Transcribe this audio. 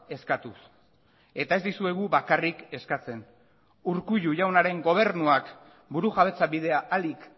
eskatuz eta ez dizuegu bakarrik eskatzen urkullu jaunaren gobernuak burujabetza bidea ahalik